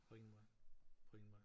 På ingen måde på ingen måde